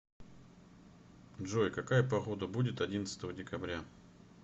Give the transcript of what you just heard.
джой какая погода будет одиннадцатого декабря